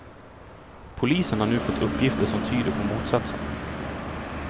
Polisen har nu fått uppgifter som tyder på motsatsen.